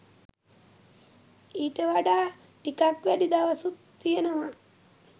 ඊට වඩා ටිකක් වැඩි දවසුත් තියනවා